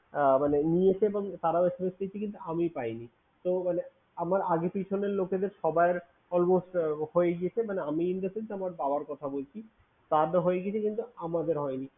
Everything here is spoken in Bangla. আহ মানে নিয়েছে এবং তারাও SMS পেয়েছে কিন্তু আমিই পাইনি। তো মানে আমার আগে পিছনের লোকেদের সবার almost হয়ে গিয়েছে মানে আমি in the sence আমার বাবার কথা বলছি। তাদের হয়ে গেছে কিন্তু আমাদের হয়নি।